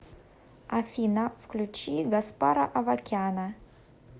афина включи гаспара авакяна